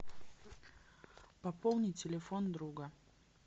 пополни телефон друга